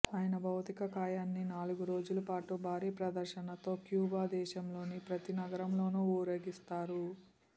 ఆయన భౌతిక కాయాన్ని నాలుగు రోజుల పాటు భారీ ప్రదర్శనతో క్యూబా దేశంలోని ప్రతి నగరంలోనూ ఊరేగిస్తారు